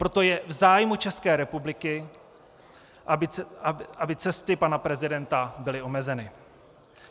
Proto je v zájmu České republiky, aby cesty pana prezidenta byly omezeny.